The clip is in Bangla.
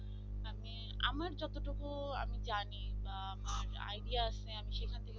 আমার যতটুকু আমি জানি আমার idea আছে আমি সেখান থেকে